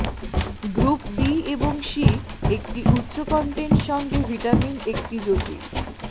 group B এবং C একটি উচ্চ কন্টেন্ট সঙ্গে ভিটামিন একটি জটিল